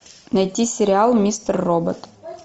найти сериал мистер робот